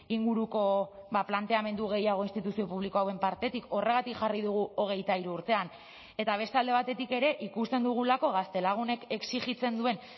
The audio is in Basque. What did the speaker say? inguruko planteamendu gehiago instituzio publiko hauen partetik horregatik jarri dugu hogeita hiru urtean eta beste alde batetik ere ikusten dugulako gaztelagunek exijitzen duen